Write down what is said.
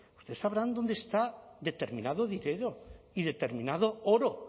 ustedes sabrán dónde está determinado dinero y determinado oro